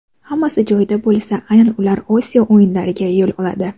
Hammasi joyida bo‘lsa, aynan ular Osiyo o‘yinlariga yo‘l oladi.